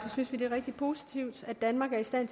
synes vi det er rigtig positivt at danmark er i stand